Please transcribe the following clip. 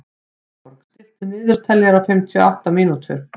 Eyborg, stilltu niðurteljara á fimmtíu og átta mínútur.